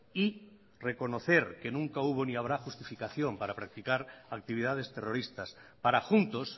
y reconocer que nunca hubo ni habrá justificación para practicar actividades terroristas para juntos